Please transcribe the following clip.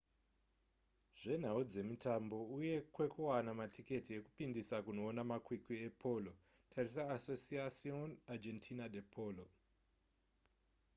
zvenhau dzemitambo uye kwekuwana matiketi ekupindisa kunoona makwikwi epolo tarisa asociacion argentina de polo